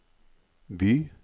by